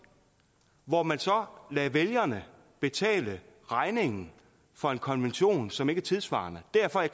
hvor man så lader vælgerne betale regningen for en konvention som ikke er tidssvarende derfor er